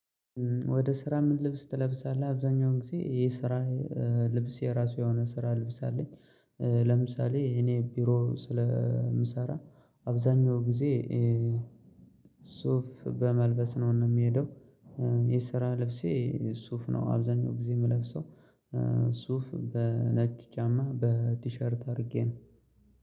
ወደ ስራ ምን ልብስ ትለብሳለህ? አብዛኛውን ጊዜ የስራ ልብስ የራሱ የሆነ ስራ ልብስ አለኝ ለምሳሌ እኔ ቢሮ ስለምሰራ አብዛኛው ጊዜ ሱፍ በመልበስ ነው ሚሄደው የስራ ልብሴ ሱፍ ነው። አብዛኛው ጊዜ የምለብሰው ሱፍ በነጭ ጫማ በቲሸርት አድርጌ ነው።